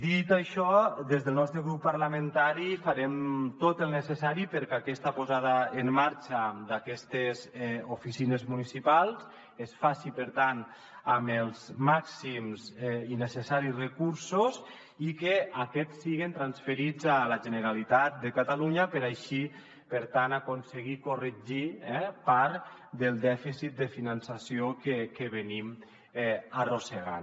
dit això des del nostre grup parlamentari farem tot el necessari perquè aquesta posada en marxa d’aquestes oficines municipals es faci per tant amb els màxims i necessaris recursos i que aquests siguen transferits a la generalitat de catalunya per així per tant aconseguir corregir eh part del dèficit de finançament que arrosseguem